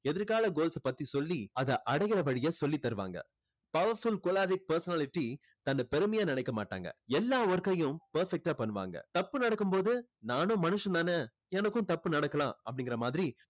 எதிர்கால goals பத்தி சொல்லி அதை அடைகிற வழிய சொல்லித் தருவாங்க. powerful choleric personality தன்னை பெருமையா நினைக்க மாட்டாங்க. எல்லா work கையும் perfect டா பண்ணுவாங்க தப்பு நடக்கும்போது நானும் மனுஷன் தானே எனக்கும் தப்பு நடக்கலாம் அப்படிங்குற மாதிரி